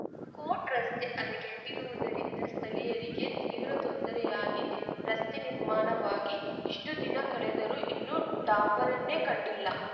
coat ರಸ್ತೆ ಹದಗೆಟ್ಟಿರುವುದರಿಂದ ಸ್ಥಳೀಯರಿಗೆ ತೀವ್ರ ತೊಂದರೆಯಾಗಿದೆ ರಸ್ತೆ ನಿರ್ಮಾಣವಾಗಿ ಇಷ್ಟುದಿನ ಕಳೆದರೂ ಇನ್ನೂ ಡಾಂಬರನ್ನೇ ಕಂಡಿಲ್ಲ